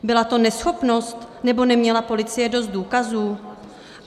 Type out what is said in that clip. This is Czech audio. Byla to neschopnost, nebo neměla policie dost důkazů?